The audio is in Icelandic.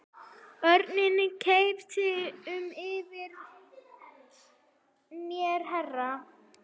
Örn kynnti fyrir mér herra